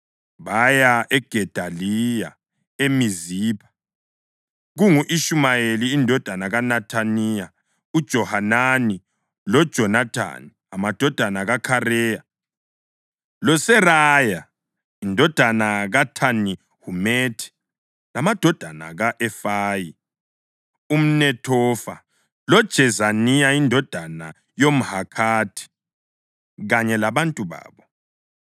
baya kuGedaliya eMizipha kungu-Ishumayeli indodana kaNethaniya, uJohanani loJonathani amadodana kaKhareya, loSeraya indodana kaThanihumethi, lamadodana ka-Efayi umNethofa, loJezaniya indodana yomMahakhathi kanye labantu babo.